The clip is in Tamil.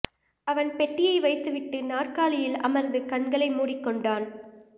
அவன் பெட்டியை வைத்துவிட்டு நாற்காலியில் அமர்ந்து கண்களை மூடிக் கொண்டான்